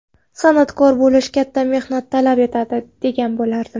San’atkor bo‘lish katta mehnat talab etadi, degan bo‘lardim.